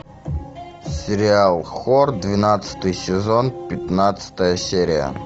сериал хор двенадцатый сезон пятнадцатая серия